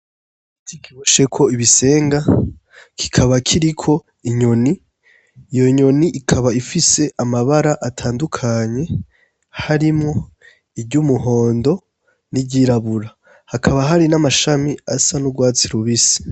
Iti kirusheko ibisenga kikaba kiriko inyoni iyo nyoni ikaba ifise amabara atandukanye harimwo iryo umuhondo n'iryirabura hakaba hari n'amashami asa n'urwatsi rubisi.